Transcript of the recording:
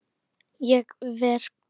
Ég fer burt.